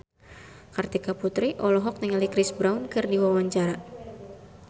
Kartika Putri olohok ningali Chris Brown keur diwawancara